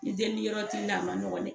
Ni deli yɔrɔ ti n'a ma nɔgɔ dɛ